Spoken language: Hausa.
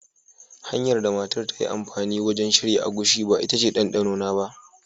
Hanyar da matar ta yi amfani wajen shirya agushi ba ita ce ɗanɗanona ba.